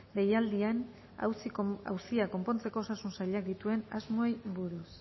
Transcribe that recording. deialdien auzia konpontzeko osasun sailak dituen asmoei buruz